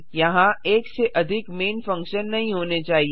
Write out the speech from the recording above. यहाँ एक से अधिक मैन फंक्शन नहीं होने चाहिए